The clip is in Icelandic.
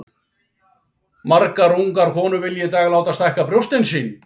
Margar ungar konur vilja í dag láta stækka brjóst sín.